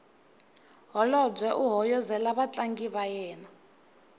holobye u hoyozela vatlangi va yena